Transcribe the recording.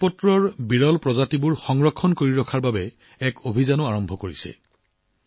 ভোজপাত্ৰৰ বিৰল প্ৰজাতিৰ সংৰক্ষণৰ বাবেও ৰাজ্য চৰকাৰে অভিযান আৰম্ভ কৰিছে